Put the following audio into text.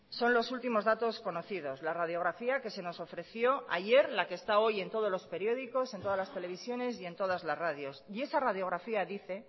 son los últimos datos conocidos la radiografía que se nos ofreció ayer la que está hoy en todos los periódicos en todas las televisiones y en todas las radios y esa radiografía dice